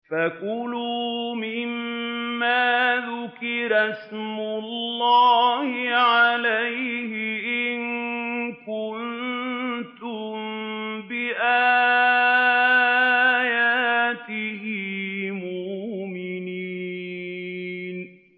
فَكُلُوا مِمَّا ذُكِرَ اسْمُ اللَّهِ عَلَيْهِ إِن كُنتُم بِآيَاتِهِ مُؤْمِنِينَ